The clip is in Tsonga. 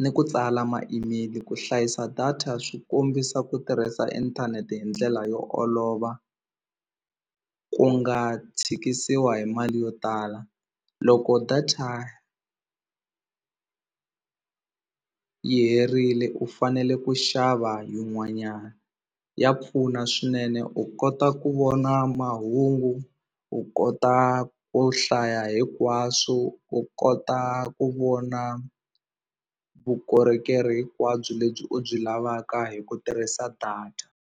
ni ku tsala ma-email ku hlayisa data swi kombisa ku tirhisa inthanete hi ndlela yo olova ku nga tshikisiwa hi mali yo tala loko data yi herile u fanele ku xava yin'wanyana ya pfuna swinene u kota ku vona mahungu u kota ku hlaya hinkwaswo u kota ku vona vukorhokeri hinkwabyo lebyi u byi lavaka hi ku tirhisa data.